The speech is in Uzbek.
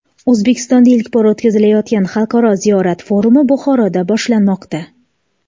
O‘zbekistonda ilk bor o‘tkazilayotgan Xalqaro ziyorat forumi Buxoroda boshlanmoqda.